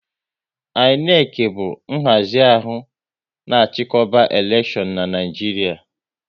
INEC bụ nhazi ahụ na chikoba elekshion n'Naijiria